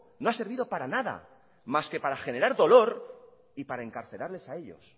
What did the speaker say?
no ha servido para nada más que para generar dolor y pare encarcelarles a ellos